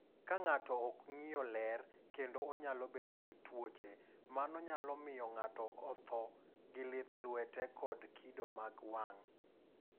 "Ka ng’ato ok ng’iyo ler kendo onyalo bedo gi tuoche, mano nyalo miyo ng’ato otho gi lith lwete kod kido mag wang’."